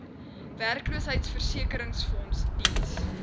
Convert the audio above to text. werkloosheidversekeringsfonds diens